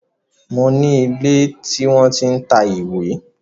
Mo ní ilé tí wọ́n tí ń ta ìwé